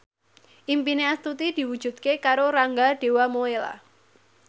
impine Astuti diwujudke karo Rangga Dewamoela